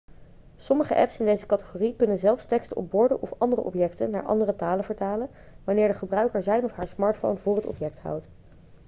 sommige apps in deze categorie kunnen zelfs teksten op borden of andere objecten naar andere talen vertalen wanneer de gebruiker zijn of haar smartphone voor het object houdt